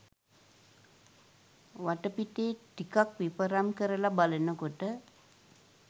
වටපිටේ ටිකක් විපරම් කරල බලනකොට